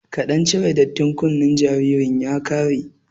Kaɗan cire dattin kunnen jaririn ya ƙare